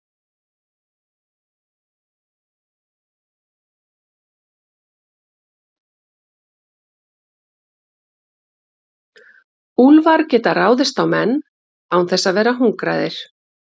Úlfar geta ráðist á menn án þess að vera hungraðir.